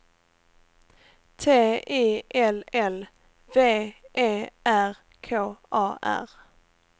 T I L L V E R K A R